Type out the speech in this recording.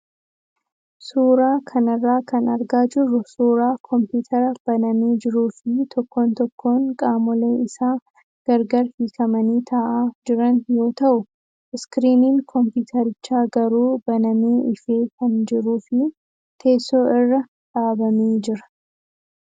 Suuraa kanarraa kan argaa jirru suuraa komppitara banamee jiruu fi tokkoon tokkoon qaamolee isaa gargar hiikamanii taa'aa jiran yoo ta'u, iskiriiniin kompiitarichaa garuu banamee ifee kan jiruu fi teessoo irra dhaabamee jira.